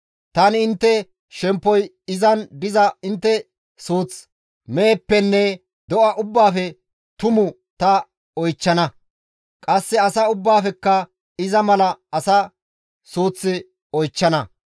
Tani intte shemppoy izan diza intte suuth meheppenne do7a ubbaafe tumu ta oychchana; qasse asa ubbaafekka iza mala asa suuth oychchana.